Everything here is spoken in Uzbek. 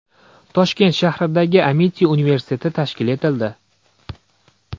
Toshkent shahridagi Amiti universiteti tashkil etildi.